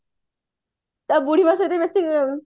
ତା ବୁଢୀ ମାଆ ସାଙ୍ଗରେ